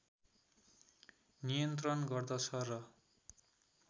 नियन्त्रण गर्दछ र